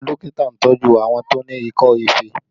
Àwọn dókítà ń tọju àwọn tó ní ikọ́ ife